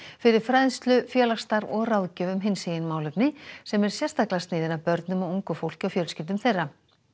fyrir fræðslu félagsstarf og ráðgjöf um hinsegin málefni sem er sérstaklega sniðin að börnum og ungu fólki og fjölskyldum þeirra